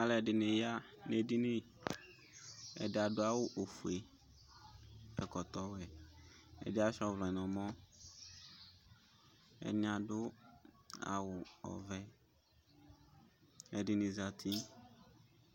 Alʋɛdìní ya nʋ ɛdiní Ɛdí adu awu fʋe, ɛkɔtɔ wɛ Ɛdí asʋia ɔvlɛ nʋ ɛmɔ Ɛdiní adu awu ɔvɛ Ɛdiní zɛti